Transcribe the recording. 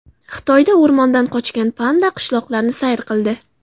Xitoyda o‘rmondan qochgan panda qishloqlarni sayr qildi .